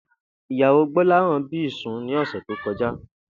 Ìyàwó Gbó̩láhàn bí ìsun ní ò̩sè̩ tó ko̩já